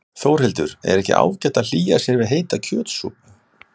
Þórhildur: Er ekki ágætt að hlýja sér við heita kjötsúpu?